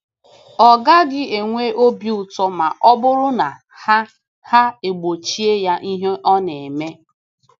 Ọ gaghị enwe obi ụtọ ma ọ bụrụ na ha ha e gbochie ya ihe ọ na-eme.